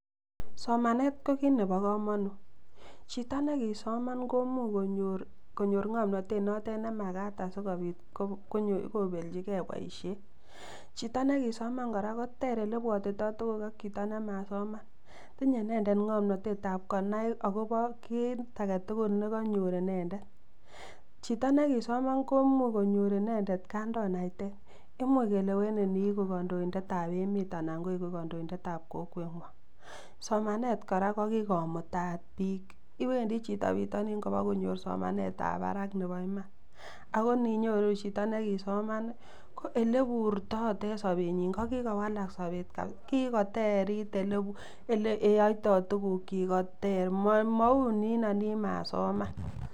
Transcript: Somanet ko kit nebo kamanut. Chito ne kisoman komuch konyor ngomnatet notet ne magat asigopit kobelchige boisiet. Chito negisoman kora koter olebwotito tuguk ak chito nemasoman. Tinye inendet ngomnatetab konai agobo kit agetugul ne kanyor inendet. Chito ne kisoman komuch konyor inendet kandoinatet. Imuch kelewenin inyeigu kandoindetab emet anan ko kondoindetab kokwengwong. Somanet kora ko kigomut biik, wendi chito bitonin kobakonyor somanetab barak nebo iman. Ago ninyoru chito negisoman ko oleburto oten sobenyin, ko kigowalak sobet. Kigoterit oleyoito tugulyik koter. Maunino nin masoman.